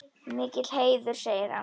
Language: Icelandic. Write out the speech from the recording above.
Mikill heiður segir hann.